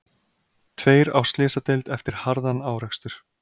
Tveir á slysadeild eftir harðan árekstur